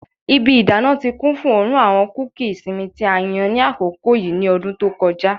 Ibi idana ti kun fun oorun ti awọn kuki isinmi ti a yan ni akoko yii ni ọdun to kọja